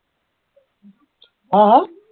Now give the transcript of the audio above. হা হা